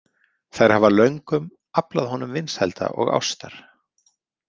Þær hafa löngum aflað honum vinsælda og ástar.